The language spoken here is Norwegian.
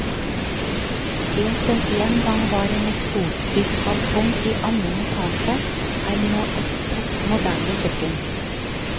Det som en gang var en eksosfylt balkong i annen etasje, er nå et topp moderne kjøkken.